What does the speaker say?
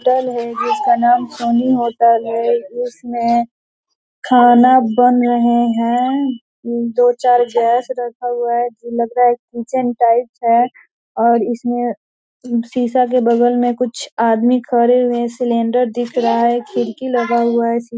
hotel है जिसका नाम सोनी होटल है इसमें खाना बन रहे हैं दो-चार गैस रखा हुआ है जो लग रहा है किचन टाइप है और इसमें शीशा के बगल में कुछ आदमी खड़े हुए सिलेंडर दिख रहा है खिड़की लगा हुआ है सी --